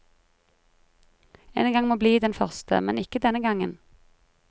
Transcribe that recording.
En gang må bli den første, men ikke denne gangen.